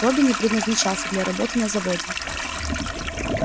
робби не предназначался для работы на заводе